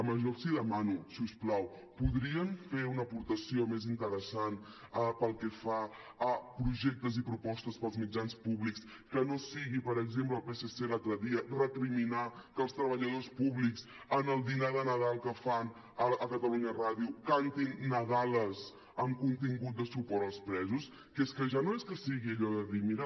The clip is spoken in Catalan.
jo els demano si us plau podrien fer una apor·tació més interessant pel que fa a projectes i propostes pels mitjans públics que no sigui per exemple el psc l’altre dia recriminar que els treballadors públics en el dinar de nadal que fan a catalunya ràdio cantin nadales amb contingut de suport als presos que és que ja no és que sigui allò de dir mira